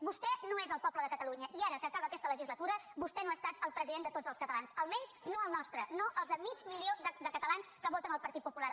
vostè no és el poble de catalunya i ara que acaba aquesta legislatura vostè no ha estat el president de tots els catalans almenys no el nostre no el del mig milió de catalans que voten el partit popular